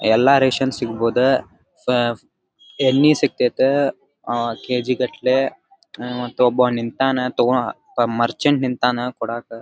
ಎಲ್ಲಾ ರೇಷನ್ ಸಿಗಬೋದ ಅಹ್ ಎಣ್ಣಿ ಸಿಗ್ತತ್ತೆ ಅಹ್ ಕೆ ಜಿ ಗಟ್ಟಲೆ ಮತ್ತ ಒಬ್ಬ ನಿಂತಾನ ತಗೋ ತಮ್ ಮರ್ಚೆಂಟ್ ನಿಂತನ ಕೊಡಾಕ.